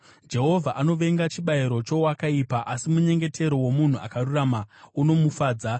Jehovha anovenga chibayiro chowakaipa, asi munyengetero womunhu akarurama unomufadza.